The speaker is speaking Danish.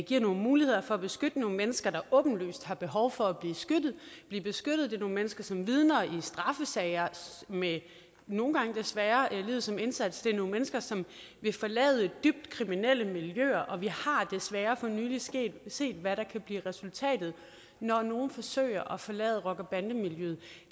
giver nogle muligheder for at beskytte nogle mennesker der åbenlyst har behov for at blive beskyttet det er nogle mennesker som vidner i straffesager med nogle gange desværre livet som indsats det er nogle mennesker som vil forlade dybt kriminelle miljøer og vi har desværre for nylig set set hvad der kan blive resultatet når nogle forsøger at forlade rocker bande miljøet